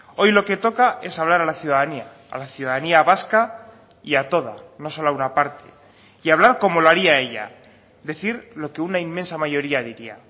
hoy lo que toca es hablar a la ciudadanía a la ciudadanía vasca y a toda no solo a una parte y hablar como lo haría ella decir lo que una inmensa mayoría diría